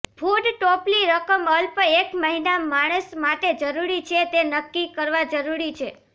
food ટોપલી રકમ અલ્પ એક મહિના માણસ માટે જરૂરી છે તે નક્કી કરવા જરૂરી છે